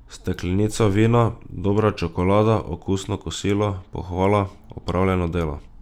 Steklenica vina, dobra čokolada, okusno kosilo, pohvala, opravljeno delo ...